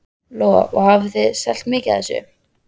Lóa: Og hafið þið selt mikið af þessu?